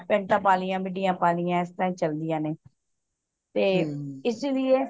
"pant ਪਾ ਲਿਆ midi ਪਾ ਲਿਆ ਇਸ ਤਰ੍ਹਾਂ ਹੀ ਚਲਦਿਆਂ ਨੇ ਤੇ ਇਸੀ